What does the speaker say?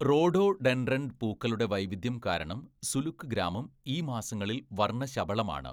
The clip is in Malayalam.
റോഡോഡെൻഡ്രൻ പൂക്കളുടെ വൈവിധ്യം കാരണം സുലുക് ഗ്രാമം ഈ മാസങ്ങളിൽ വർണ്ണശബളമാണ്.